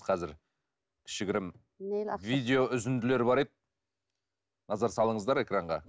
қазір кішігірім видео үзінділер бар еді назар салыңыздар экранға